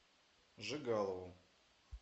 жигалову